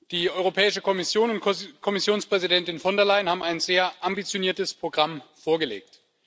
Die Europäische Kommission und Kommissionspräsidentin von der Leyen haben ein sehr ambitioniertes Programm vorgelegt.